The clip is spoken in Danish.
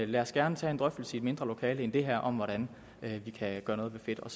lad os gerne tage en drøftelse i et mindre lokale end det her om hvordan vi kan gøre noget ved fedt og